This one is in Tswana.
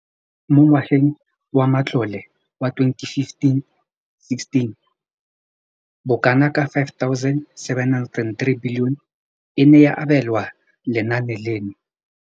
Mo ngwageng wa matlole wa 2015 le 2016, bokanaka R5 703 bilione e ne ya abelwa lenaane leno.